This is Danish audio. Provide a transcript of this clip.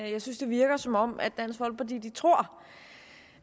jeg synes det virker som om dansk folkeparti tror